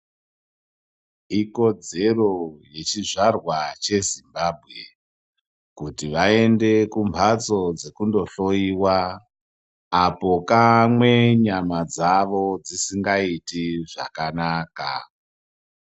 Ikodzero yechizvarwa cheZimbabwe kuti vaende kumphatso dzekundohloyiwa apo kamwe nyama dzawo dzisingaiti zvakanaka.